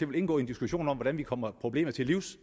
vil indgå i en diskussion om hvordan vi kommer problemet til livs